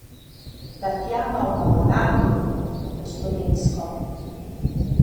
Tatjana v Mamalandiji, po slovensko.